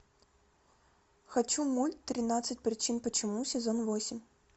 хочу мульт тринадцать причин почему сезон восемь